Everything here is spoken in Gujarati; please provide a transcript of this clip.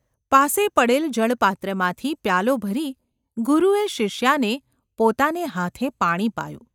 પાસે પડેલ જળપાત્રમાંથી પ્યાલો ભરી ગુરુએ શિષ્યાને પોતાને હાથે પાણી પાયું.